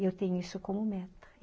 E eu tenho isso como meta.